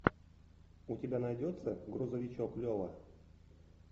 у тебя найдется грузовичок лева